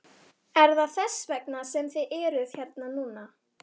Okkur flóttafólkinu var vísað á vöruflutningavagn.